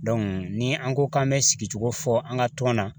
ni an ko k'an bɛ sigicogo fɔ an ka tɔn na